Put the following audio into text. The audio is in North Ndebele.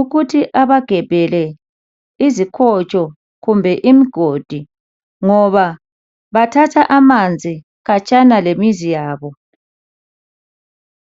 ukuthi abagebhele izikotsho kumbe imigodi ngoba bathatha amanzi khatshana lemizi yabo.